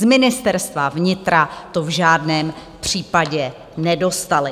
Z Ministerstva vnitra to v žádném případě nedostali.